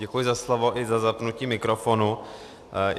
Děkuji za slovo i za zapnutí mikrofonu.